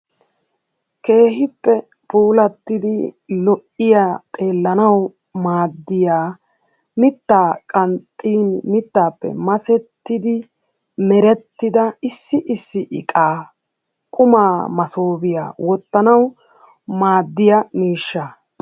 keehippe puulatiddi lo''iya xeelanawu maaddiya mittaa qanxxin mittappe masettidi merettida issi issi iqaa quma massobiya oottanawu maaddiyaa miishshaa